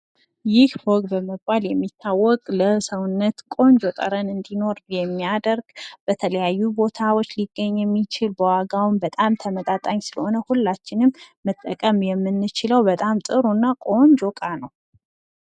ይህ ፎግ በመባል የሚታወቅ ለሰውነት ቆንጆ ጠረን እንዲኖር የሚያደርግ በተለያዩ ቦታዎች ሊገኝ የሚችል በዋጋውም በጣም ተመጣጣኝ ስለሆነ ሁላችንም መጠቀም የምንችለው በጣም ጥሩ እና ቆንጆ እቃ ነው።